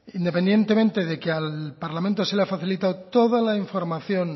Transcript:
independientemente de que al parlamento se le ha facilitado toda la información